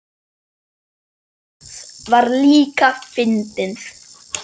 Það var líka fyndið.